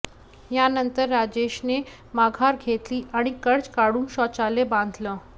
यानंतर राजेशने माघार घेतली आणि कर्ज काढून शौचालय बांधलं